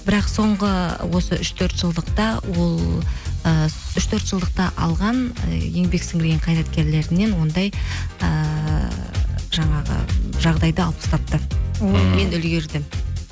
бірақ соңғы осы ол ы үш төрт жылдықта алған еңбек сіңірген қайраткерлерінен ондай ііі жаңағы жағдайды алып тастапты мен үлгердім